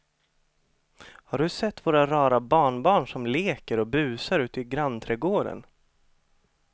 Har du sett våra rara barnbarn som leker och busar ute i grannträdgården!